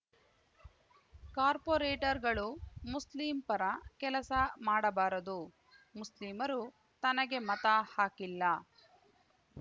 ಕಾರ್ಪೊರೇಟರ್‌ಗಳು ಮುಸ್ಲಿಂ ಪರ ಕೆಲಸ ಮಾಡಬಾರದು ಮುಸ್ಲಿಮರು ತನಗೆ ಮತ ಹಾಕಿಲ್ಲ